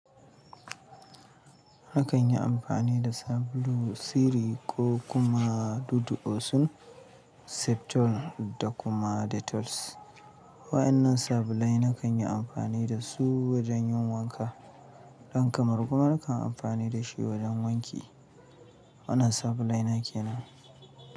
Nakan yi amfani da sabulu, Siri ko kuma dudu osun Septol da kuma Detols. Wa'annan sabulai nakan yi amfani da su wajen yin wanka. Ɗan kamaru kuma nakan yi amfani da shi wajen wanki. Wannan sabulai nake nan.